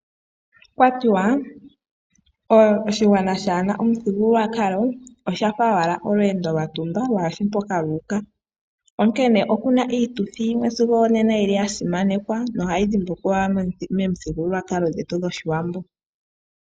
Okwa tiwa oshigwana shaana omuthigululwakalo osha fa owala olweendo lwatumba lwaashi mpoka luuka, onkene oku na iituthi yimwe sigo onena ya simanekwa nohayi dhimbulukiwa momithigululwakalo dhetu dhOshiwambo.